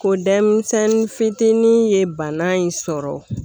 Ko denmisɛnnin fitinin ye bana in sɔrɔ